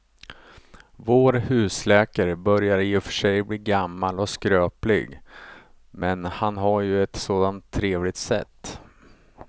Vår husläkare börjar i och för sig bli gammal och skröplig, men han har ju ett sådant trevligt sätt!